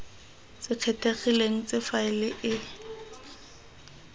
se kgethegileng tse faele e